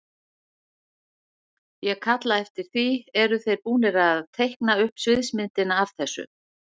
Ég kalla eftir því, eru þeir búnir að teikna upp sviðsmyndina af þessu?